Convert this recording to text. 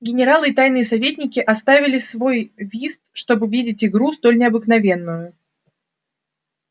генералы и тайные советники оставили свой вист чтоб видеть игру столь необыкновенную